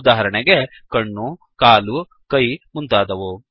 ಉದಾಹರಣೆಗೆ ಕಣ್ಣು ಕಾಲು ಕೈ ಮುಂತಾದವು